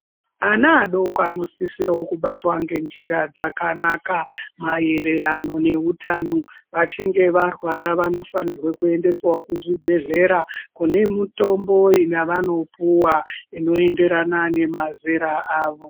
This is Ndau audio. Ana adoko anosisiro kubatwa ngenjira dzakanaka mayererano nehutano vachinge varwara vanofanira kuendeswawo kuzvibhedhleya kune mitombo yavanopuwa inoenderana nemazera avo.